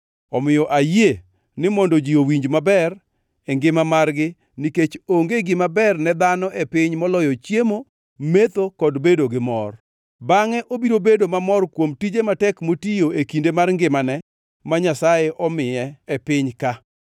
Omiyo ayie ni mondo ji owinj maber e ngima margi, nikech onge gima ber ne dhano e piny moloyo chiemo, metho kod bedo gimor. Bangʼe obiro bedo mamor kuom tije matek motiyo e kinde mar ngimane ma Nyasaye omiye ngima e piny ka.